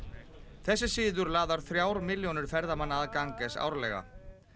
þessi siður laðar þrjár milljónir ferðamanna að árlega